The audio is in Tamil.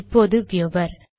இப்போது வ்யுவர்